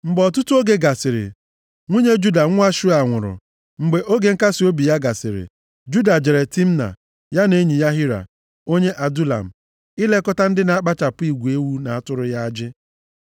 Mgbe ọtụtụ oge gasịrị, nwunye Juda nwa Shua nwụrụ. Mgbe oge nkasiobi ya gasịrị, Juda jere Timna, ya na enyi ya Hira, onye Adulam, ilekọta ndị na-akpụchapụ igwe ewu na atụrụ ya ajị.